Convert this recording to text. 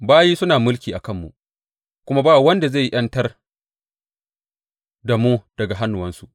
Bayi suna mulki a kanmu, kuma ba wanda zai ’yantar da mu daga hannuwansu.